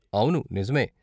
అవును, నిజమే.